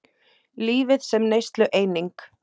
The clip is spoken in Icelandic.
Lífið sem neyslueining.